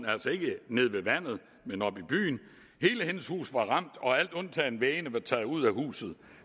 altså ikke nede ved vandet men oppe i byen hele hendes hus var ramt og alt undtagen væggene var taget ud af huset